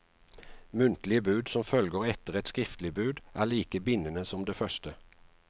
Muntlige bud som følger etter et skriftlig bud, er like bindende som det første.